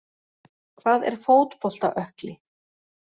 Hvað er fótbolta ökkli?